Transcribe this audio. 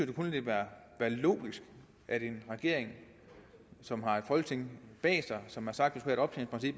det kun ville være logisk at en regering som har et folketing bag sig som har sagt